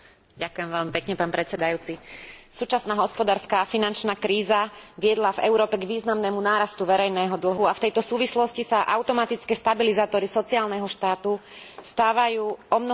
Súčasná hospodárska a finančná kríza viedla v Európe k významnému nárastu verejného dlhu a v tejto súvislosti sa automatické stabilizátory sociálneho štátu stávajú omnoho dôležitejšími, ako boli doteraz.